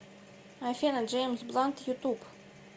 афина джеймс блант ютуб